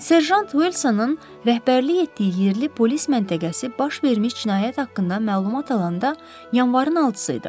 Serjant Vilsonun rəhbərlik etdiyi yerli polis məntəqəsi baş vermiş cinayət haqqında məlumat alanda yanvarın altısı idi.